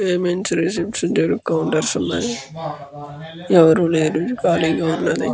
Payments and receipts counters ఉన్నాయి. ఎవరు లేరు. ఖాళీగా ఉన్నది.